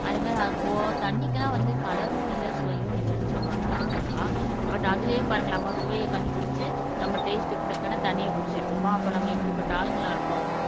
அது மாதிரி அப்போ தண்ணிக்கு எல்லாம் வந்து சுவையும் இல்ல கலரும் இல்லைன்னு சொல்லுவாங்க நார்மலா புட் அதுலையே பாருங்க நம்ம சுவையை கண்டுபிடிச்சு நம்ம டேஸ்டுக்கு தக்கன தண்ணிய குடிச்சிட்டு இருக்கும் அப்போ நம்ம எப்படிப்பட்ட ஆளுங்களா இருப்போம்